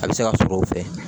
A bɛ se ka sɔrɔ o fɛ